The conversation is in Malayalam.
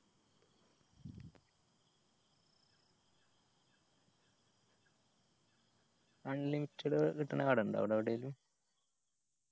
unlimited കിട്ടണ കട ഇണ്ട അവിടെ എവിടേലും